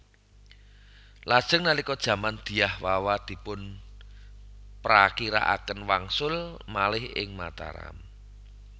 Lajeng nalika jaman Dyah Wawa dipunprakirakaken wangsul malih ing Mataram